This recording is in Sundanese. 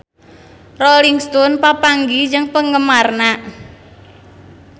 Rolling Stone papanggih jeung penggemarna